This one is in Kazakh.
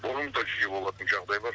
бұрын да жиі болатын жағдайлар